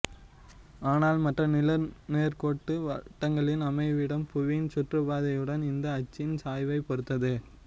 ஆனால் மற்ற நிலநேர்கோட்டு வட்டங்களின் அமைவிடம் புவியின் சுற்றுப்பாதை யுடன் இந்த அச்சின் சாய்வை பொறுத்தது